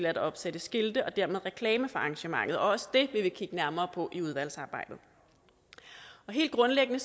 at opsætte skilte og dermed reklamer for arrangementet og også det vil vi kigge nærmere på i udvalgsarbejdet helt grundlæggende